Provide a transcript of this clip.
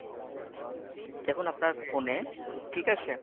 দেখুন আপনার phone এ ঠিক আছে।